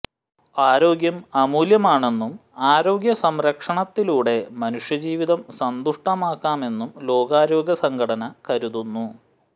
ആരോഗ്യം അമൂല്യമാണെന്നും ആരോഗ്യ സംരക്ഷണത്തിലൂടെ മനുഷ്യജീവിതം സന്തുഷ്ടമാക്കാമെന്നും ലോകാരോഗ്യ സംഘടന കരുതുന്നു